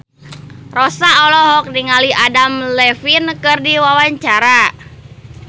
Rossa olohok ningali Adam Levine keur diwawancara